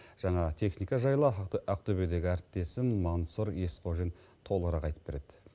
жаңа техника жайлы ақтөбедегі әріптесім мансұр есқожин толығырақ айтып береді